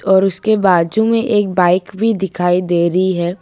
और उसके बाजू में एक बाइक भी दिखाई दे रही है।